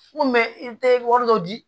N ko i bɛ wari dɔ di